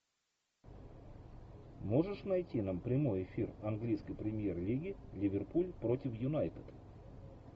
можешь найти нам прямой эфир английской премьер лиги ливерпуль против юнайтед